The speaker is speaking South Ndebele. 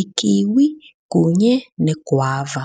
ikiwi kunye negwava.